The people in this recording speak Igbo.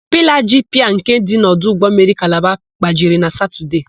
Pilaa ji piia nke dị n' ọdụ ụgbọmmiri Kalaba gbajiri na Satọdee.